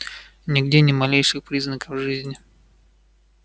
нигде ни малейших признаков жизни